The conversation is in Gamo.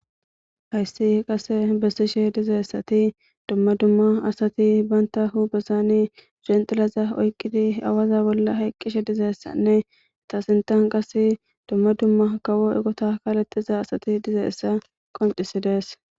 Hayssi qase bessishe dizeessati dumma dumma asati banta hu besani genxilaza oyqqidi awaza bolla hayqqishe dizeessanne tasintan qas dumma dumma kawo egota kaalettiza asati dizeessa qoncisides.